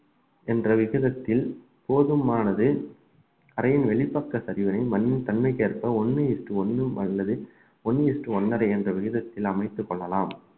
என்ற விகிதத்தில் போதுமானது அதையின் வெளிப்பக்க சரிவினை மண்ணின் தன்மைக்கேற்ப ஒண்ணு எட்டு ஒண்ணு அல்லது ஒண்ணு எட்டு ஒன்னரை என்ற விகிதத்தில் அமைத்துக் கொள்ளலாம்